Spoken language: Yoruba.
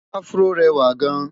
afro réwà gaan